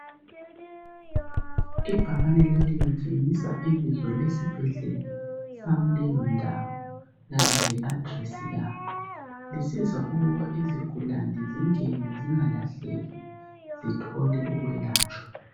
Ibhakani leli litshengisa ibizo lesibhedlela sakuleyo ndawo, kanye le adilesi yaso. Lisiza ukubana izigulane zingene zingalahleki. zithole ukwelatshwa.